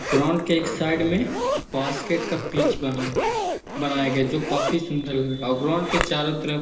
ground के एक side में बास्केट का पिच बना है बनाया गया है जो काफी सूंदर लग रहा है और ग्राउंड के चारो तरफ --